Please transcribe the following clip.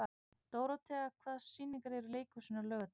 Dórothea, hvaða sýningar eru í leikhúsinu á laugardaginn?